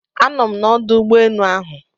Anọ m n'ọdụ ụgbọ enu ahụ